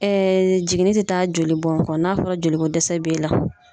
Ɛɛ jiginni te taa jolibɔn kɔ n'a fɔra joliko dɛsɛ b'e la